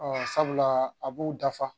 sabula a b'u dafa